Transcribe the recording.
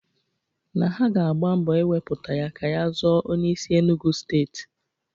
Na ha ga-agba mbọ iwepụta ya ka ya zọọ onyeisi Enugwu steeti.